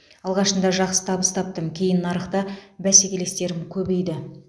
алғашында жақсы табыс таптым кейін нарықта бәсекелестерім көбейді